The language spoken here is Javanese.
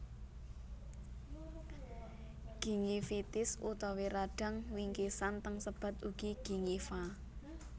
Gingivitis utawi radang wingkisan teng sebat ugi gingiva